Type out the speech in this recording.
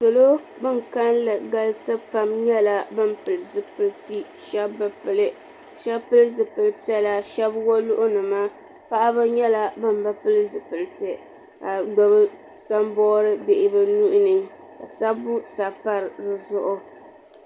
Salo ban kalilli galisi pam nyɛla ban pili zipilti sheba bi pili sheba pili zipil'piɛla sheba woluɣu nima paɣaba nyɛla ban bi pili zipilti ka gbibi samboori bɛ nuhini ka sabbu sabi pa dizuɣu.